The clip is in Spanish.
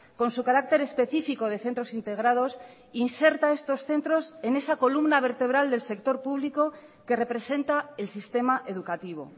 con su carácter específico de centros integrados inserta estos centros en esa columna vertebral del sector público que representa el sistema educativo